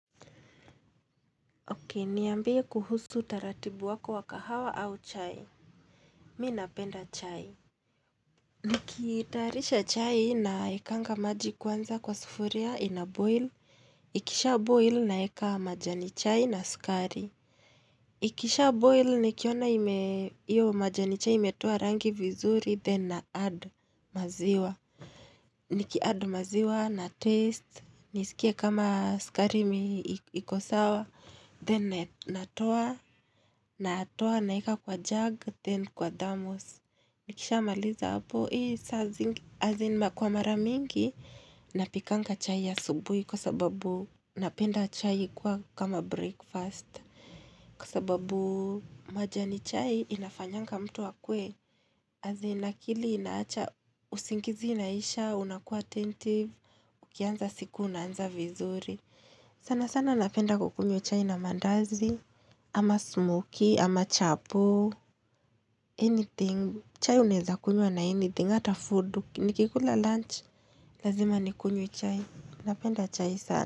Niambie kuhusu taratibu wako wakahawa au chai. Mimi napenda chai. Nikitayarisha chai nawekanga maji kwanza kwa sufuria ina boil. Ikisha boil, naweka majani chai na sukari. Ikisha boil nikiona ime, iyo majani chai imetoa rangi vizuri, then na add maziwa. Niki add maziwa na taste, nisikie kama sukari iko sawa, then. Natoa, natoa naweka kwa jug, then kwa thermos. Nikisha maliza hapo, hii saa zingine. As in, kwa mara mingi, napikanga chai asubuhi kwa sababu napenda chai kuwa kama breakfast. Kwa sababu, majani chai inafanyanga mtu akuwe, as in, akili inaacha, usingizi inaisha, unakuwa attentive, ukiaanza siku unaanza vizuri. Sana sana napenda kukunywa chai na mandazi, ama smokie, ama chapo, anything. Chai unaeza kunywa na anything, ata food, nikikula lunch. Lazima nikunyo chai. Napenda chai sana.